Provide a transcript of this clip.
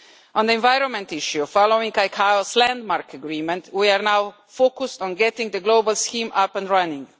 On the environment issue, following ICAO's landmark agreement, we are now focused on getting the global scheme up and running.